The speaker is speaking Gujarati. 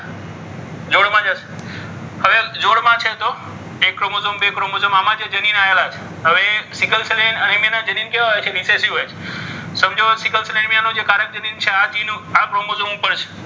જોડમાં છે તો એક ક્રોમોઝોમ બે ક્રોમોઝોમ આમાં જે જનીનો આવેલા છે હવે સિકલ સેલ અનેમિયાના જનીન કેવા હોય છે? હોય છે સમજો સિકલ સર અને મિયાનો જે કારક જનીન છે આ ક્રોમોઝોન ઉપર છે.